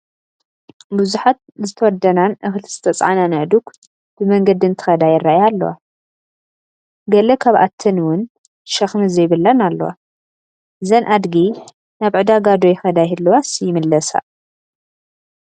ብዙሓት ዝተወደናን እኽሊ ዝተፃዓናን ኣእዱግ ብመንገዲ እንትኸዳ ይራኣያ ኣለዋ፡፡ ገለ ካብኣተን ውን ሸኽሚ ዘይብለን ኣለዋ፡፡ እዘን ኣድጊ ናብ ዕደጋ ዶ ይኸዳ ይህለዋስ ይምለሳ?